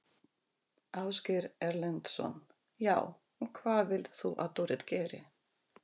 Ásgeir Erlendsson: Já, og hvað vilt þú að Dorrit geri?